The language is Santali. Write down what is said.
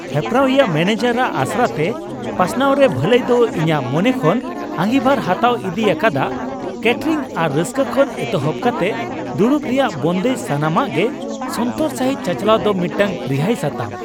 ᱦᱮᱯᱨᱟᱣᱤᱭᱟᱹ ᱢᱮᱹᱱᱮᱡᱟᱨᱟᱜ ᱚᱥᱟᱨᱛᱮ ᱯᱟᱥᱱᱟᱣ ᱨᱮ ᱵᱷᱟᱹᱞᱟᱹᱭ ᱫᱚ ᱤᱧᱟᱹᱜ ᱢᱚᱱᱮ ᱠᱷᱚᱱ ᱟᱺᱜᱤᱵᱷᱟᱨ ᱦᱟᱛᱟᱣ ᱤᱫᱤ ᱟᱠᱟᱫᱟ ᱠᱮᱹᱴᱟᱨᱤᱝ ᱟᱨ ᱨᱟᱹᱥᱠᱟᱹ ᱠᱷᱚᱱ ᱮᱛᱚᱦᱚᱵ ᱠᱟᱛᱮ ᱫᱩᱲᱩᱵ ᱨᱮᱭᱟᱜ ᱵᱚᱱᱫᱮᱡ ; ᱥᱟᱱᱟᱢᱟᱜ ᱜᱮ ᱥᱚᱱᱛᱚᱨ ᱥᱟᱹᱦᱤᱡ ᱪᱟᱪᱟᱞᱟᱣ ᱫᱚ ᱢᱤᱫᱴᱟᱝ ᱨᱤᱦᱟᱹᱭ ᱥᱟᱛᱟᱢ ᱾